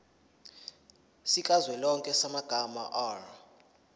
sikazwelonke samabanga r